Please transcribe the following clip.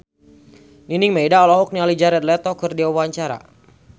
Nining Meida olohok ningali Jared Leto keur diwawancara